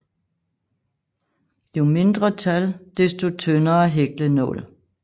Jo mindre tal desto tyndere hæklenål